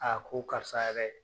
ko karisa yɛrɛ